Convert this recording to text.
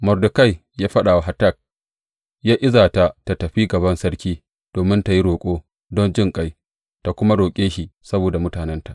Mordekai ya faɗa wa Hatak yă iza ta tă tafi gaban sarki domin tă yi roƙo don jinƙai, tă kuma roƙe shi saboda mutanenta.